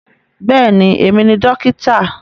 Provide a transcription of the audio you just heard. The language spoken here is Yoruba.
Bẹ́ẹ̀ni, èmi ni dókítà